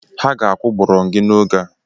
Ha ga-akụ gbọrọngị n'oge a.